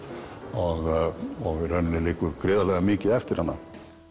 og í rauninni liggur gríðarlega mikið eftir hana